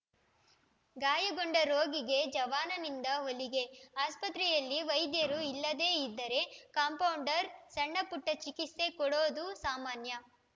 ಗಾಯಗೊಂಡ ರೋಗಿಗೆ ಜವಾನನಿಂದ ಹೊಲಿಗೆ ಆಸ್ಪತ್ರೆಯಲ್ಲಿ ವೈದ್ಯರು ಇಲ್ಲದೇ ಇದ್ದರೆ ಕಾಂಪೌಂಡರ್‌ ಸಣ್ಣಪುಟ್ಟಚಿಕಿತ್ಸೆ ಕೊಡೋದು ಸಾಮಾನ್ಯ